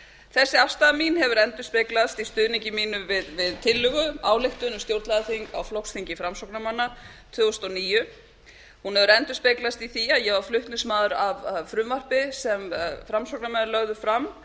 þessi afstaða mín hefur endurspeglast í stuðningi mínum við tillögu ályktun um stjórnlagaþing á flokksþingi framsóknarmanna tvö þúsund og níu hún hefur endurspeglast í því að ég var flutningsmaður að frumvarpi sem framsóknarmenn lögðu fram